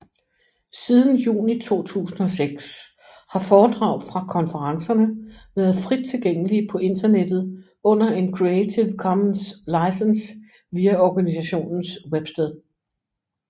Siden juni 2006 har foredrag fra konferencerne været frit tilgængelige på internettet under en Creative Commons licens via organisationens websted